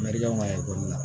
Mariyamu ka ekɔli la